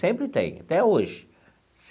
Sempre tem, até hoje.